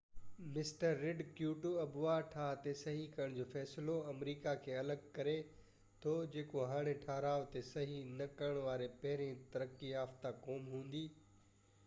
mister Rudd Kyoto آبهوا ٺاه تي صحي ڪرڻ جو فيصلو آمريڪا کي الڳ ڪري ٿو جيڪو هاڻي ٺهراءُ تي صحي نہ ڪرڻ واري پهرين ترقي يافتہ قوم هوندي